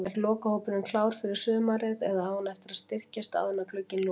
Er lokahópurinn klár fyrir sumarið eða á hann eftir að styrkjast áður en glugginn lokast?